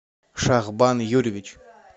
шахбан юрьевич